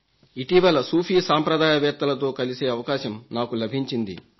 ఇటీవల సూఫీ సాంప్ిదాయవేత్తలతో కలిసే అవకాశం నాకు లభించింది